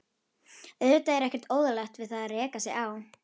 Auðvitað er ekkert óeðlilegt við það að reka sig á.